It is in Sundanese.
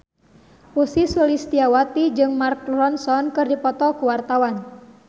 Ussy Sulistyawati jeung Mark Ronson keur dipoto ku wartawan